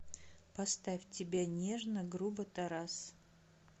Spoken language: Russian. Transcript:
поставь тебя нежно грубо тарас